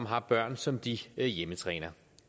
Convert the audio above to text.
har børn som de hjemmetræner